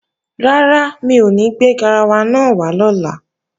Rárá, mi ò ní gbé garawa náà wá lọ́la